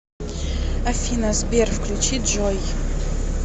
афина сбер включи джой